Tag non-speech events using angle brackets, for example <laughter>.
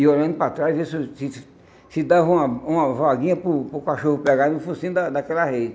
E olhando para trás, <unintelligible> se dava uma uma vaguinha para o para o cachorro pegar no focinho da daquela reise.